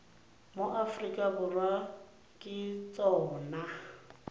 mo aforika borwa ke tsona